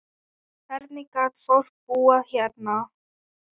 Hvernig gat fólk búið hérna?